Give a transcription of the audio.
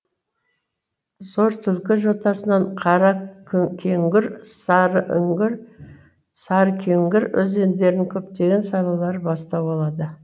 зортүлкі жотасынан қаракөкеңгір сарыкеңгір өзендерінің көптеген салалары бастау алады